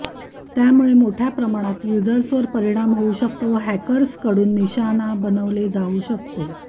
त्यामुळे मोठ्या प्रमाणात युजर्सवर परिणाम होवू शकतो व हॅकर्सकडून निशाणा बनवले जावू शकते